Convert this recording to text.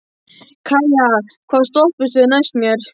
Kæja, hvaða stoppistöð er næst mér?